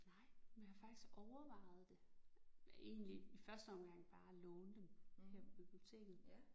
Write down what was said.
Nej men jeg har faktisk overvejet det. Egentlig i første omgang bare at låne dem her på biblioteket